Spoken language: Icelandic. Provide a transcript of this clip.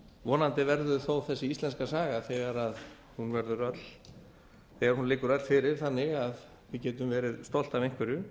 vonandi verður þó þessi íslenska saga þegar hún liggur öll fyrir þannig að við getum verið stolt af einhverju